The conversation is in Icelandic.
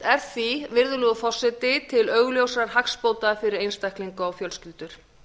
er því virðulegur forseti til augljósra hagsbóta fyrir einstaklinga og fjölskyldur